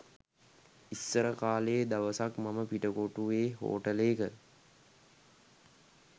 ඉස්සර කලේ දවසක් මම පිටකොටුව්වේ හෝටලේක